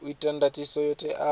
u ta ndatiso yo teaho